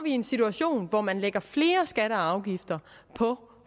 i en situation hvor man lægger flere skatter og afgifter på